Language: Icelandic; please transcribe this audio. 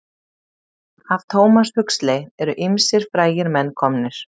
Af Thomas Huxley eru ýmsir frægir menn komnir.